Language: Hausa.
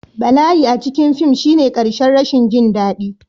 Bala'i a cikin fim shine ƙarshen rashin jin daɗi